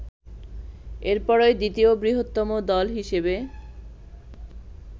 এরপরই দ্বিতীয় বৃহত্তম দল হিসেবে